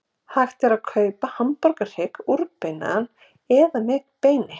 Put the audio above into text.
Hægt er að kaupa hamborgarhrygg úrbeinaðan eða með beini.